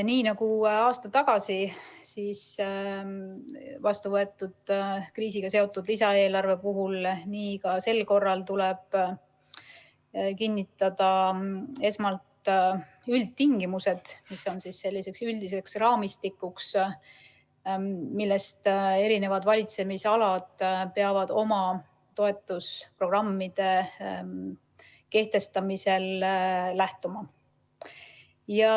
Nii nagu aasta tagasi vastu võetud kriisiga seotud lisaeelarve puhul, tuleb ka sel korral kinnitada esmalt üldtingimused, mis on üldine raamistik ja millest eri valitsemisalad peavad oma toetusprogrammide kehtestamisel lähtuma.